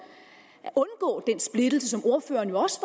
at undgå den splittelse som ordføreren jo også